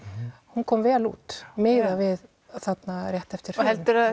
hún kom vel út miðað við þarna rétt eftir hrun heldurðu